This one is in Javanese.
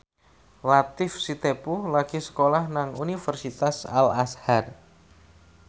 Latief Sitepu lagi sekolah nang Universitas Al Azhar